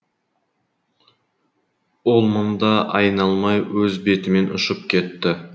ол мында айналмай өз бетімен ұшып кетті